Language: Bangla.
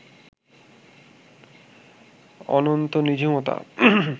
অনন্ত নিঝুমতা